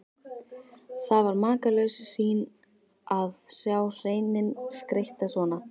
Það var makalaus sýn að sjá hreininn skreyttan svona.